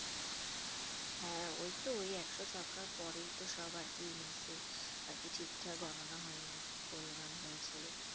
হ্যাঁ ওইতো ওই একশো ছক্কার পরেই তো সব আরকি innings এ আরকি ঠিকঠাক গণনা হয়নি গোলমাল হয়েছিল